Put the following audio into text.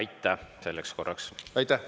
Aitäh selleks korraks!